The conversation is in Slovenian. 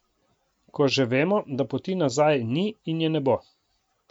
Ko že vemo, da poti nazaj ni in je ne bo.